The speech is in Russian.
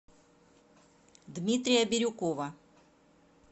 дмитрия бирюкова